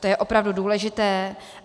To je opravdu důležité.